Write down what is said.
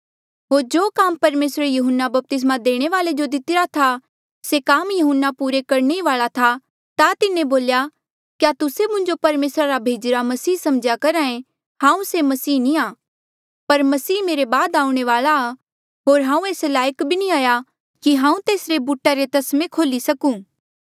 होर जो काम परमेसरे यहून्ना बपतिस्मा देणे वाल्ऐ जो दितिरा था से काम यहून्ना पूरा करणे वाल्आ ही था ता तिन्हें बोल्या क्या तुस्से मुंजो परमेसरा रा भेजिरा मसीह समझ्या करहा ऐें हांऊँ से मसीहा नी आ पर मसीह मेरे बाद आऊणें वाल्आ आ होर हांऊँ एस लायक भी नी हाया कि हांऊँ तेसरे बूटा रे तस्मे खोल्ही सकूं